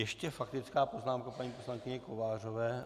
Ještě faktická poznámka paní poslankyně Kovářové?